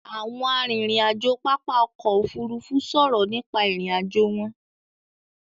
Àwọn arìnrìn-àjò pápá ọkọ̀ Òfurufú sọ̀rọ̀ nípa ìrìn-àjò wọn.